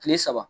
Kile saba